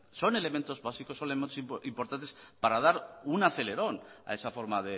son elementos básicos son elementos importantes para dar un acelerón a esa forma